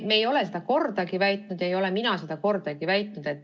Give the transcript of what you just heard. Me ei ole seda kordagi väitnud, ei ole seda ka mina kordagi väitnud.